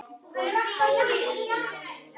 Og hárið líka!